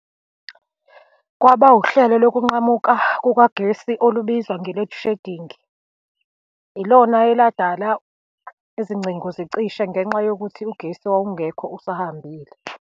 Kwaba uhlelo lokunqamuka kukagesi olubizwa nge-load shedding. Ilona eladala izingcingo zicishe ngenxa yokuthi ugesi wawungekho, usahambile.